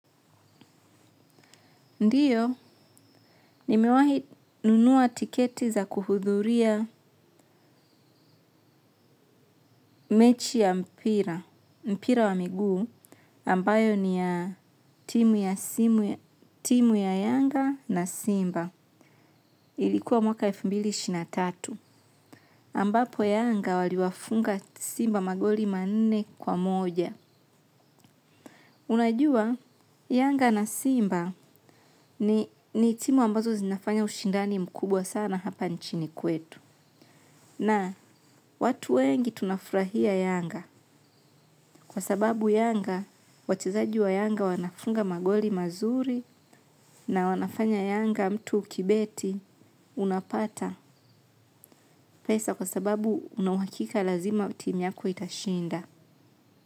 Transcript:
Ndiyo, ni mewahi nunua tiketi za kuhudhuria mechi ya mpira, mpira wa miguu, ambayo ni ya timu ya yanga na simba. Ilikuwa mwaka elfu mbili na ishirini na tatu, ambapo yanga waliwafunga simba magoli manne kwa moja. Unajua, yanga na simba ni timu ambazo zinafanya ushindani mkubwa sana hapa nchini kwetu. Na watu wengi tunafurahia yanga kwa sababu yanga wachezaji wa yanga wanafunga magoli mazuri na wanafanya yanga mtu ukibeti unapata pesa kwa sababu unawakika lazima timu yako itashinda.